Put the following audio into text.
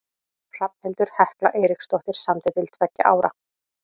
Hrafnhildur Hekla Eiríksdóttir samdi til tveggja ára.